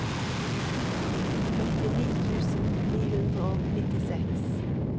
førtini tusen ni hundre og nittiseks